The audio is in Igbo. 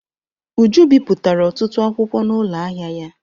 Uju bipụtara ọtụtụ akwụkwọ n'ụlọ ahịa ya.